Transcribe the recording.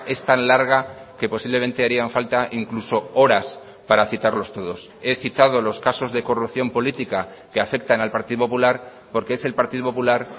es tan larga que posiblemente harían falta incluso horas para citarlos todos he citado los casos de corrupción política que afectan al partido popular porque es el partido popular